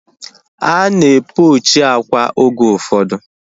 Ana e pochi akwa oge ụfọdụ